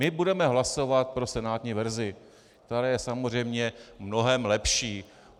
My budeme hlasovat pro senátní verzi, která je samozřejmě mnohem lepší.